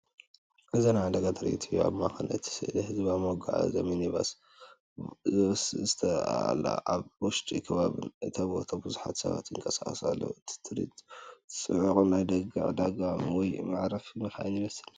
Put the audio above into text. እዚ ናይ ዕዳጋ ትርኢት እዩ። ኣብ ማእከል እቲ ስእሊ ህዝባዊ መጓዓዝያ ሚኒባስ ቫስ ትርአ ኣላ። ኣብ ውሽጢን ከባቢን እታ ቦታ ብዙሓት ሰባት ይንቀሳቐሱ ኣለዉ። እቲ ትርኢት ጽዑቕ ናይ ደገ ዕዳጋ ወይ መዕረፊ መካይን ይመስል።